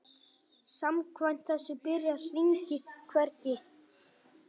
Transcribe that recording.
Samkvæmt þessu byrjar hringur hvergi.